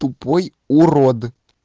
тупой урод